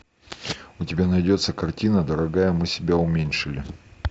у тебя найдется картина дорогая мы себя уменьшили